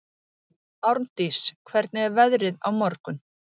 Mynd af Jesú er af Þetta er einhver magnaðasta sjónhverfing sem ég hef séð.